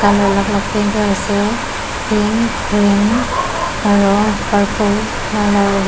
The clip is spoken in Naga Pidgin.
aro alak alak ase pink green aro purple .